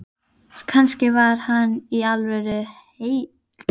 Kannski var hann í alvörunni heil